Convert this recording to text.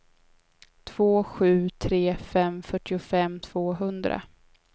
två sju tre fem fyrtiofem tvåhundra